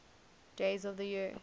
days of the year